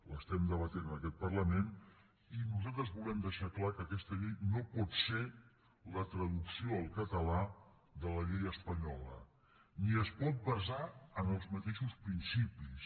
l’estem debatent en aquest parlament i nosaltres volem deixar clar que aquesta llei no pot ser la traducció al català de la llei espanyola ni es pot basar en els mateixos principis